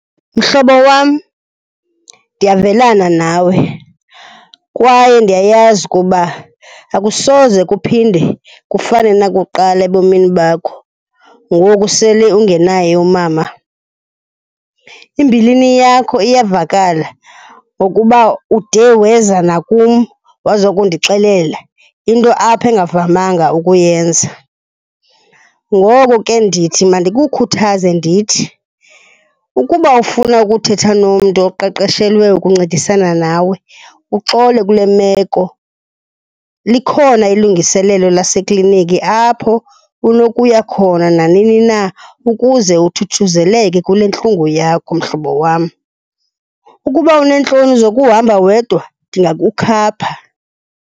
Mhlobo wam, ndiyavelana nawe kwaye ndiyayazi ukuba akusoze kuphinde kufane nakuqala ebomini bakho ngoku sele ungenaye umama. Imbilini yakho iyavakala ngokuba ude weza nakum wazokundixelela, into apha ongavamanga ukuyenza. Ngoko ke ndithi mandikukhuthaze ndithi, ukuba ufuna ukuthetha nomntu oqeqeshelwe ukuncedisana nawen uxole kule meko, likhona ilungiselelo lasekliniki apho unokuya khona nanini na ukuze uthuthuzeleke kule ntlungu yakho mhlobo wam. Ukuba uneentloni zokuhamba wedwa ndingakukhapha.